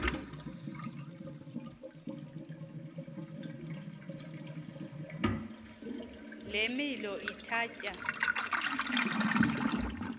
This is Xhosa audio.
le milo ithatya